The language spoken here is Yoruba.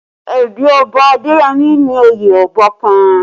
Ẹbí Ọba Adeyemi ni oyè Ọba kàn